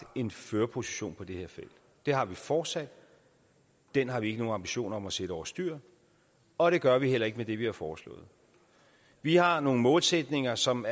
en førerposition på det her felt det har vi fortsat og den har vi ikke nogen ambitioner om at sætte over styr og det gør vi heller ikke med det vi har foreslået vi har nogle målsætninger som